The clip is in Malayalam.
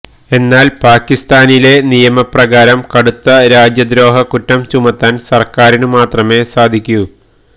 എന്നാല് പാക്കിസ്ഥാനിലെ നിയമ പ്രകാരം കടുത്ത രാജ്യദ്രോഹക്കുറ്റം ചുമത്താന് സര്ക്കാരിനുമാത്രമേ സാധിക്കു